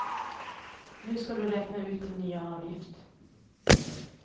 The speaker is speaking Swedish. Nu ska du räkna ut din nya avgift.